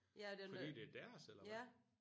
Ja det er noget ja